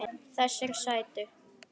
Þessir sætu!